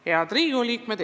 Head Riigikogu liikmed!